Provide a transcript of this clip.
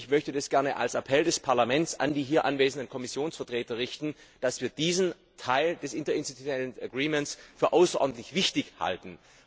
Ich möchte das gerne als Appell des Parlaments an die hier anwesenden Kommissionsvertreter richten, dass wir diesen Teil der Interinstitutionellen Vereinbarung für außerordentlich wichtig halten.